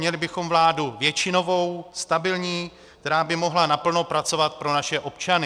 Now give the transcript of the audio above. Měli bychom vládu většinovou, stabilní, která by mohla naplno pracovat pro naše občany.